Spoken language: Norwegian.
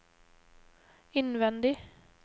innvendig